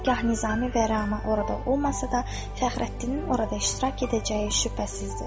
Hər qah Nizami və Rəna orada olmasa da, Fəxrəddinin orada iştirak edəcəyi şübhəsizdir.